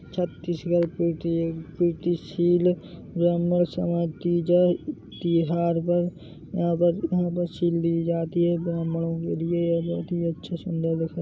छत्तीसगढ़ पेटी शील ब्राह्मण समाज की त्योहार पर यहां पर सील दी जाति है ब्रह्मणो के लिये बहुत अच्छा सुन्दर दिख--